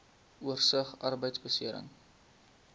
oorsig arbeidbeserings